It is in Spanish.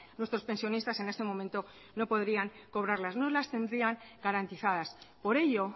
nuestros pensionistas en este momento no podrían cobrarlas no las tendrían garantizadas por ello